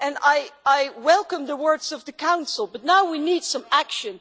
I welcome the words of the Council, but now we need some action.